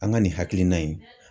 An ka nin hakilina in